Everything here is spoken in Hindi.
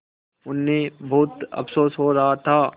उन्हें बहुत अफसोस हो रहा था